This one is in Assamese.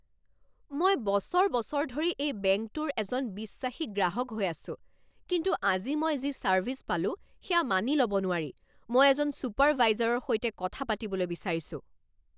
মই বছৰ বছৰ ধৰি এই বেংকটোৰ এজন বিশ্বাসী গ্ৰাহক হৈ আছোঁ, কিন্তু আজি মই যি ছাৰ্ভিছ পালো, সেয়া মানি লব নোৱাৰি। মই এজন ছুপাৰভাইজৰৰ সৈতে কথা পাতিবলৈ বিচাৰিছোঁ!